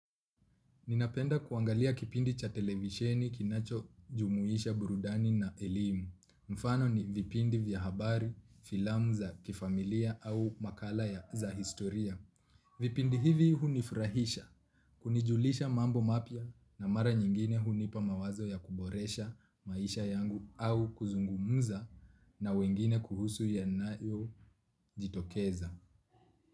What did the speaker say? Ninapenda kuangalia kipindi cha televisheni kinacho jumuisha burudani na elimu. Mfano ni vipindi vya habar filamu za familia au makali ya historia. Vipindi hivi hunifurahisha, kunijulisha mambo mapya na mara nyingine hunipa mawazo ya kuboresha maisha yangu au kuzungumuza na wengine kuhusu yanayo jitokeza.